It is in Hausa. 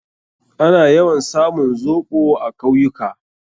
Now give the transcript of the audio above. Ana yawan samun zoɓo a kawyuka.